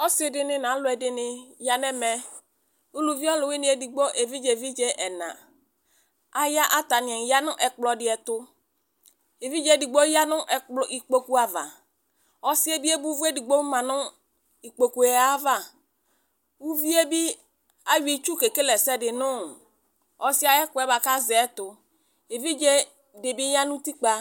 Ɔsidini nu aluɛdini ya nu ɛmɛ ɔluwini edigbo evidze evidze ɛna atani ya nu ɛkplɔ di tu evidze edigbo ya nu ikpoku ava ɔsi edigbo di bi ebo uvu edigbo yanu ikpoku ava uvie bi ayɔ itsu kekele ɛsɛdi nu ɔsi yɛ ayu ɛkuɛ azɛ tu evidze dibi ya nu utikpa